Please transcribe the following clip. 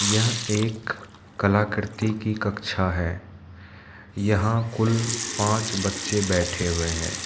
यह एक कलाकृति की कक्षा है यहां कुल पांच बच्चे बैठे हुए हैं।